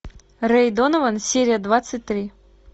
рэй донован серия двадцать три